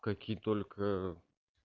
какие только